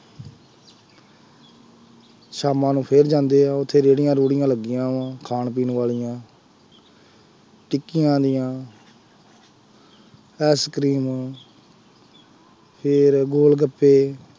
ਸ਼ਾਮਾਂ ਨੂੰ ਫੇਰ ਜਾਂਦੇ ਆ, ਉੱਥੇ ਰੇਹੜੀਆਂ ਰੂਹੜੀਆਂ ਲੱਗੀਆਂ ਵਾਂ, ਖਾਣ ਪੀਣ ਵਾਲੀਆਂ ਟਿੱਕੀਆਂ ਦੀਆਂ, ਆਈਸ ਕਰੀਮ ਫੇਰ ਗੋਲ ਗੱਪੇ,